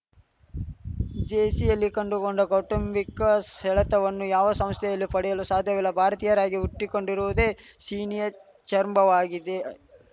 ಜೇಸಿಯಲ್ಲಿ ಕಂಡುಕೊಂಡ ಕೌಟುಂಬಿಕ ಸೆಳೆತವನ್ನು ಯಾವ ಸಂಸ್ಥೆಯಲ್ಲೂ ಪಡೆಯಲು ಸಾಧ್ಯವಿಲ್ಲ ಭಾರತೀಯರಿಗಾಗಿ ಹುಟ್ಟಿಕೊಂಡಿರುವುದೇ ಸೀನಿಯರ್‌ ಛೇರಂಭಾವಾಗಿದೆ